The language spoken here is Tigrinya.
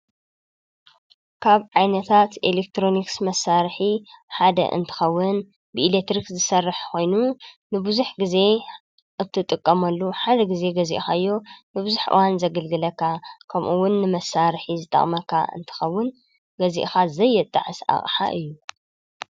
ካብ ዓይነታት ኤሌክትሮንክስ መሳርኂ ሓደ እንትኸውን ብኢሌትርክ ዝሠርሕ ኾይኑ ንብዙኅ ጊዜ እትጥቀመሉ ሓደ ጊዜ ገዜእኻዮ ንብዙኅ ዋን ዘግልግለካ ከምኡውን ንመሳርሒ ዝጣቕመካ እንተኸውን ገዚእኻ ዘየጣዐስ ኣቕሓ እዩ።